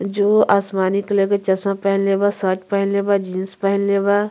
जो आसमानी कलर के चश्मा पहनले बा शर्ट पहनले बा जीन्स पहनले बा।